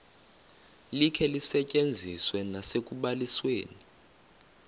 likhe lisetyenziswe nasekubalisweni